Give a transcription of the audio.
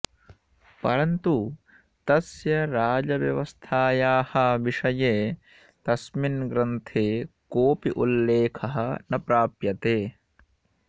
परन्तु तस्य राजव्यवस्थायाः विषये तस्मिन् ग्रन्थे कोऽपि उल्लेखः न प्राप्यते